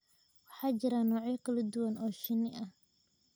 Waxaa jira noocyo kala duwan oo shinni ah